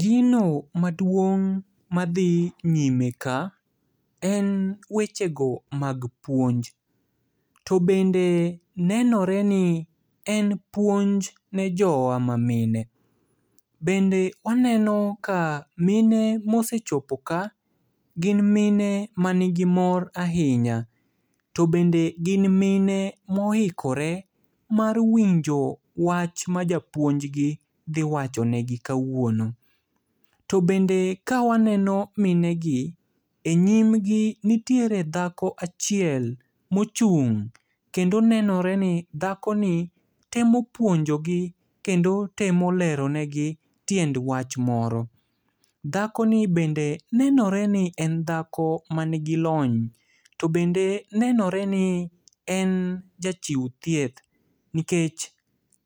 Gino maduong' madhi nyime ka, en wechego mag puonj. To bende nenoreni en puonj ne jowa mamine. Bende waneno ka mine mosechopo ka gin mine manigi mor ahinya. To bende gin mine moikore mar winjo wach ma japuonjgi dhiwacho negi kawuono. To bende kawaneno minegi, e nyimgi nitiere dhako achiel mochung'. Kendo nenoreni dhakoni temo puonjogi kendo temo lero negi tiend wach moro. Dhakoni bende nenoreni en dhako manigi lony. To bende nenoreni en jachiu thieth, nikech